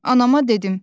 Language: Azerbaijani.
Anama dedim.